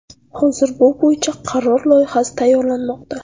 Hozir bu bo‘yicha qaror loyihasi tayyorlanmoqda.